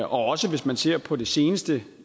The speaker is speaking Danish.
også hvis man ser på det seneste